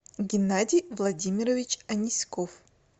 геннадий владимирович аниськов